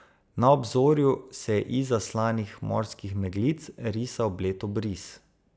Na obzorju se je izza slanih morskih meglic risal bled obris.